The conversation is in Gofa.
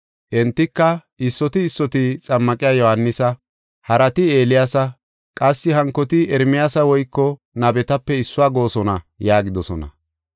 Entika, “Issoti issoti Xammaqiya Yohaanisa, harati Eeliyaasa qassi hankoti Ermiyaasa woyko nabetape issuwa goosona” yaagidosona.